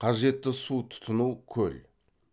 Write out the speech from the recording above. қажетті су тұтыну көл